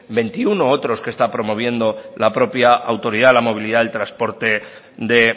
veintiuno otros que está promoviendo la propia autoridad la movilidad del transporte de